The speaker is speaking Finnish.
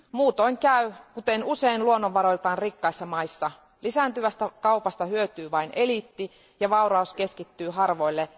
Muutoin käy kuten usein luonnonvaroiltaan rikkaissa maissa lisääntyvästä kaupasta hyötyy vain eliitti ja vauraus keskittyy harvoille.